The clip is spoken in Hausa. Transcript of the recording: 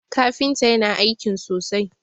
kafinta yana aikin sosai!